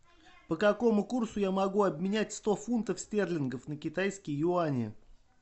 по какому курсу я могу обменять сто фунтов стерлингов на китайские юани